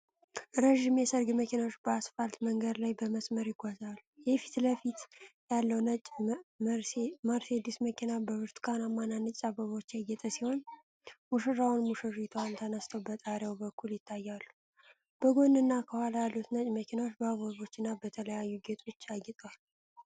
ረዥም የሠርግ መኪናዎች በአስፋልት መንገድ ላይ በመስመር ይጓዛሉ። የፊት ለፊት ያለው ነጭ መርሴዲስ መኪና በብርቱካንና ነጭ አበባዎች ያጌጠ ሲሆን፣ ሙሽራውና ሙሽራይቱ ተነስተው በጣሪያው በኩል ይታያሉ። በጎንና ከኋላ ያሉት ነጭ መኪናዎች በአበቦችና በተለያዩ ጌጦች አጊጠዋል።